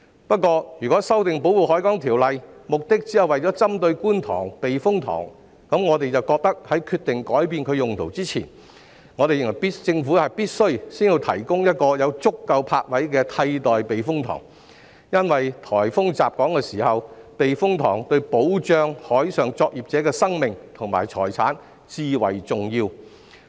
不過，如果修訂《條例》只是針對觀塘避風塘，我們便認為在決定改變其用途前，政府必須先提供一個有足夠泊位的替代避風塘，因為颱風襲港時，避風塘對於保障海上作業者的生命和財產至為重要。